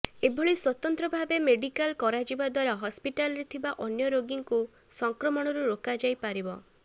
ଏଭଳି ସ୍ୱତନ୍ତ୍ର ଭାବେ ମେଡିକାଲ କରାଯିବା ଦ୍ୱାରା ହସ୍ପିଟାଲରେ ଥିବା ଅନ୍ୟ ରୋଗୀଙ୍କୁ ସଂକ୍ରମଣରୁ ରୋକାଯାଇପାରିବ